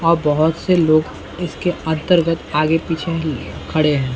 अ बहुत से लोग इसके अंतर्गत आगे पीछे खड़े हैं।